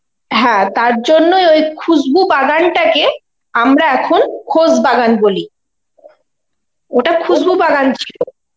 হ্যাঁ তার জন্যই ওই খুসবু বাগান টাকে আমরা এখন খোশবাগান বলি, ওটা খুশবু বাগান ছিল.